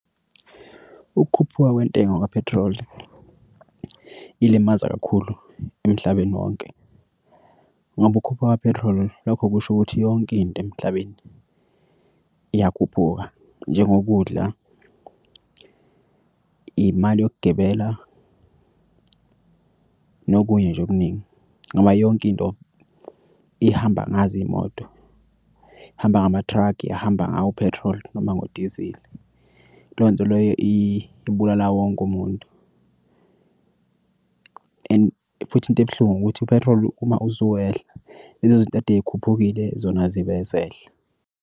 Ukukhuphuka kwentengo kaphethiloli ilimaza kakhulu emhlabeni wonke ngoba ukhuphuka kwa-petrol lokho kusho ukuthi yonke into emhlabeni iyakhuphuka njengokudla, imali yokugibela, nokunye nje okuningi. Ngoba yonke into ihamba ngazo iy'moto. Hamba ngamathrugi ihamba ngawo u-petrol noma ngodizili. Leyo nto leyo ibulala wonke umuntu and futhi into ebuhlungu ukuthi u-petrol uma usuwehla lezo zinto kade zikhuphukile zona azibe sehla.